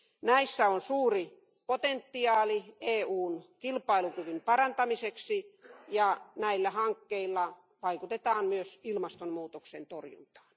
Näissä on suuri potentiaali EUn kilpailukyvyn parantamiseksi ja näillä hankkeilla vaikutetaan myös ilmastonmuutoksen torjuntaan.